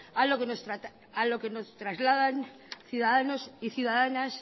a lo que nos trasladan ciudadanos y ciudadanas